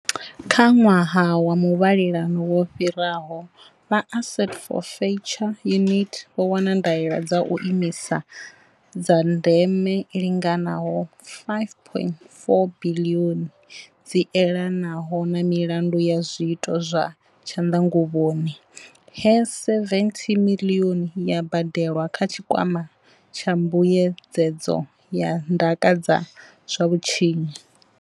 Kha ṅwaha wa muvhalelano wo fhiraho, vha Asset Forfeiture Unit vho wana ndaela dza u imisa dza ndeme i linganaho R5.4 biḽioni dzi elanaho na milandu ya zwiito zwa tshanḓa nguvhoni, he R70 miḽioni ya badelwa kha Tshikwama tsha Mbuyedzedzo ya Ndaka dza zwa Vhutshinyi.